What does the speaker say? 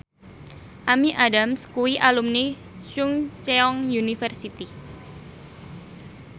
Amy Adams kuwi alumni Chungceong University